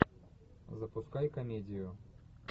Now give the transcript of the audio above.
запускай комедию